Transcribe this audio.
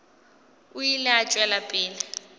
o ile a tšwela pele